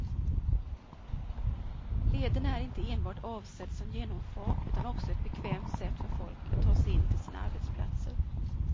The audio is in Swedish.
Leden är inte enbart avsedd som genomfart utan också som ett bekvämt sätt för folk att ta sig in till sina arbetsplatser.